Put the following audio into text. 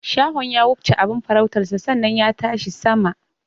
Shahon ya wufce abin farautarsa sannan ya tashi sama.